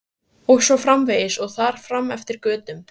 Og svo framvegis og þar fram eftir götum.